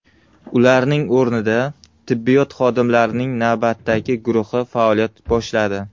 Ularning o‘rnida tibbiyot xodimlarining navbatdagi guruhi faoliyat boshladi.